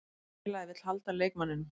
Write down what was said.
Félagið vill halda leikmanninum.